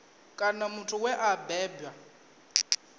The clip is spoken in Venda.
kana muthu we a bebwa